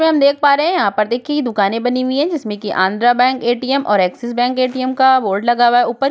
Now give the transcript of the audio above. इस्पे हम देख पा रहे हैं यहाँ पर देखिए ये दुकानें बनी हुई हैं जिसमें की आंध्र बैंक ए.टी.एम और एक्सिस बैंक ए.टी.एम का बोर्ड लगा हुआ है ऊपर।